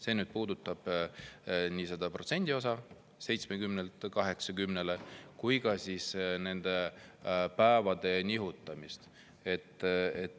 See puudutab nii selle protsendi 70‑lt 80‑le kui ka nende päevade nihutamist.